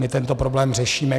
My tento problém řešíme.